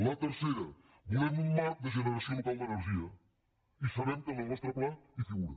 la tercera volem un marc de generació local d’energia i sabem que en el nostre pla hi figura